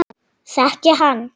Þekki hann.